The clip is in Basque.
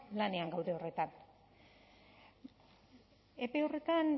lanean gaude horretan epe horretan